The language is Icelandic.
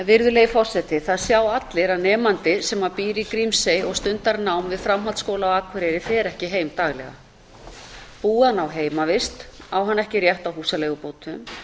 virðulegi forseti það sjá allir að nemandi sem býr í grímsey og stundar nám við framhaldsskóla á akureyri fer ekki heim daglega búi hann á heimavist á hann ekki rétt á húsaleigubótum